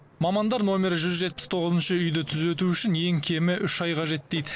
мамандар номері жүз жетпіс тоғызыншы үйді түзету үшін ең кемі үш ай қажет дейді